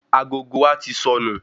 Agogo wa tí sọnù